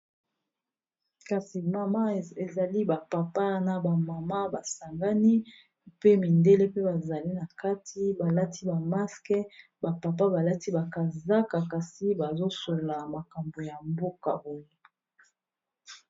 Kasi, mama ezali ba papa na ba mama ba sangani. Pe mindele pe bazali na kati, balati ba maske. Ba papa balati bakazaka. Kasi bazo solola makambo ya mboka oyo.